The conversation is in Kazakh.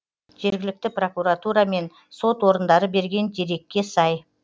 жергілікті прокуратара мен сот орындары берген дерекке сай